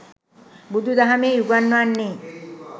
බුදු දහමෙහි උගන්වන්නේ